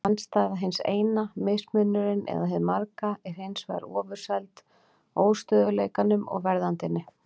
Andstæða hins eina, mismunurinn eða hið marga, er hins vegar ofurseld óstöðugleikanum og verðandinni.